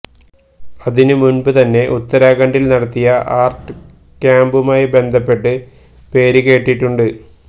അതിനുമുന്പ് തന്നെ ഉത്തരാഖണ്ഡില് നടത്തിയ ആര്ട്ട് ക്യാമ്പുമായി ബന്ധപ്പെട്ട് പേര് കേട്ടിട്ടുണ്ട്